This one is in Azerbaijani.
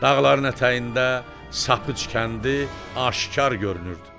Dağların ətəyində Sapıqc kəndi aşkar görünürdü.